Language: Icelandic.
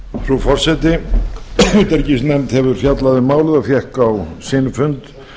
frú forseti utanríkisnefnd hefur fjallað um málið og fékk á sinn fund